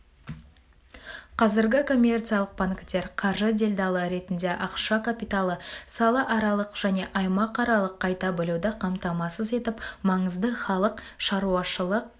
қазіргі коммерциялық банктер қаржы делдалы ретінде ақша капиталын салааралық және аймақаралық қайта бөлуді қамтамасыз етіп маңызды халық шаруашылық